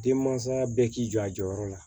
Denmansa bɛɛ k'i jɔ a jɔyɔrɔ la